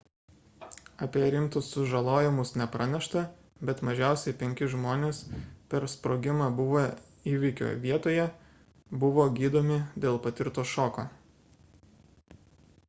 apie rimtus sužalojimus nepranešta bet mažiausiai penki žmonės per sprogimą buvę įvykio vietoje buvo gydomi dėl patirto šoko